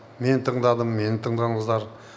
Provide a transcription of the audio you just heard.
мен тыңдадым мені тыңдадыңыздар